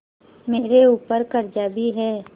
मेरे ऊपर कर्जा भी है